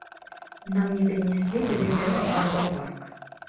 нам не принесли билеты в аквапарк